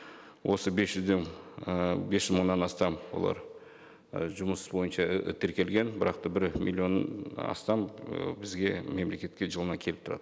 осы бес жүзден ііі бес жүз мыңнан астам олар і жұмыс бойынша і тіркелген бірақ та бір миллион астам ы бізге мемлекетке жылына келіп тұрады